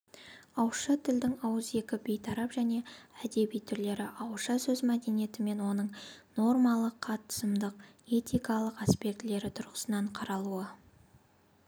ауызша тілдің ауызекі бейтарап және әдеби түрлері ауызша сөз мәдениеті және оның нормалық қатысымдық этикалық аспектілері тұрғысынан қаралуы